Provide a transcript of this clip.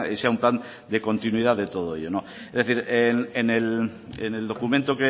sea un plan de continuidad de todo ello es decir en el documento